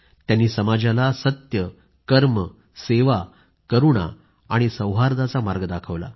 त्यांनी समाजाला नेहमीच सत्य कर्म सेवा करूणा आणि सौहार्दाचा मार्ग दाखवला